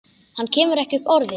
Hann kemur ekki upp orði.